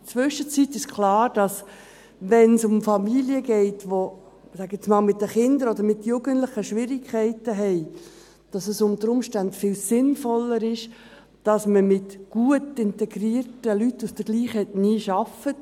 In der Zwischenzeit ist klar, dass, wenn es um Familien geht, die – ich sage jetzt einmal – mit den Kindern oder Jugendlichen Schwierigkeiten haben, es unter Umständen viel sinnvoller ist, dass man mit gut integrierten Leuten aus derselben Ethnie arbeitet.